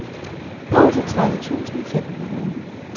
otteogtredive tusind fem hundrede